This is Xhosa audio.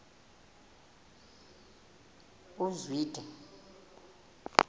uzwide